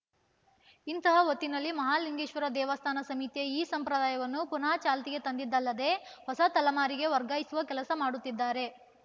ಇಂತಹ ಹೊತ್ತಿನಲ್ಲಿ ಮಹಾಲಿಂಗೇಶ್ವರ ದೇವಸ್ಥಾನ ಸಮಿತಿಯ ಈ ಸಂಪ್ರದಾಯವನ್ನು ಪುನಃ ಚಾಲ್ತಿಗೆ ತಂದಿದ್ದಲ್ಲದೆ ಹೊಸ ತಲೆಮಾರಿಗೆ ವರ್ಗಾಯಿಸುವ ಕೆಲಸ ಮಾಡುತ್ತಿದ್ದಾರೆ